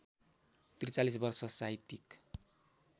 ४३ वर्ष साहित्यिक